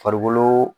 Farikolo